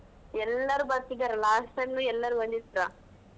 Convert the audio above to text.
ಎಲ್ಲರೂ ಬರ್ತಿದ್ದಾರೆ last time ನು ಎಲ್ಲರು ಬಂದಿದ್ರ.